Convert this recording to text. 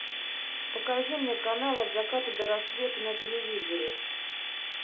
покажи мне канал от заката до рассвета на телевизоре